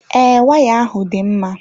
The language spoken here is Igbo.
Ee, waya ahụ dị mma.